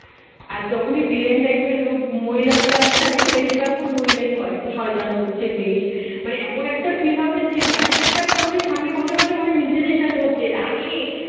আর যখনই villain type র লোক মহিলা গুলো আছে না দেখবে বেশিরভাগ এখন মহিলায় হয় যে শয়তান গোচ এর বেশ মানে এমন একটা feel হবে যে এমন একটা করবে সামনে বসে বসে মনে হয় নিজেদের সাথে হচ্ছে এটা রাগে